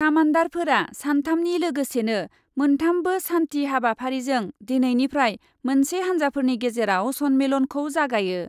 कामान्डारफोरा सान्थामनि लोगोसेनो मोन्थामबो सान्थि हाबाफारिजों दिनैनिफ्राय मोनसे हान्जाफोरनि गेजेराव सन्मेलनखौ जागायो ।